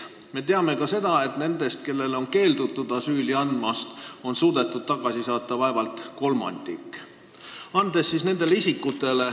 Me teame ka seda, et nendest, kellele on keeldutud asüüli andmast, on suudetud tagasi saata vaevalt kolmandik.